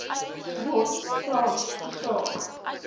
ron frans gevra